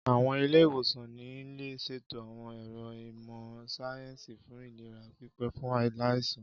Àwọn ilé-ìwòsàn ní lè ṣètò àwọn ẹ̀ro ìmọ̀ síáyẹ́nsì fún ìlera pípé fún aláìsàn